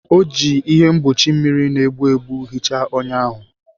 O ji ihe mgbochi mmiri na-egbu egbu hichaa ọnya ahụ.